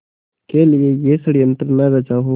के लिए यह षड़यंत्र न रचा हो